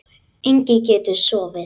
Enginn getur sofið.